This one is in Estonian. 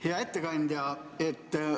Hea ettekandja!